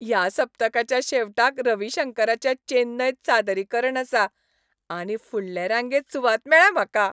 ह्या सप्तकाच्या शेवटाक रवी शंकराचें चेन्नयंत सादरीकरण आसा आनी फुडले रांगेंत सुवात मेळ्ळ्या म्हाका!